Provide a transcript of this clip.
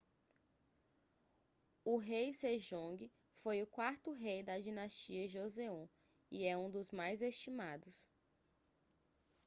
o rei sejongue foi o quarto rei da dinastia joseon e é um dos mais estimados